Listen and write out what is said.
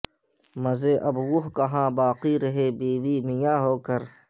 مزے اب وہ کہاں باقی رہے بیوی میاں ہو کر